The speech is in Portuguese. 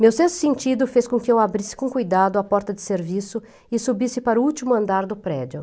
Meu sexto sentido fez com que eu abrisse com cuidado a porta de serviço e subisse para o último andar do prédio.